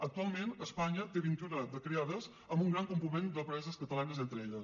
actualment espanya en té vint i una de creades amb un gran component d’empreses catalanes entre elles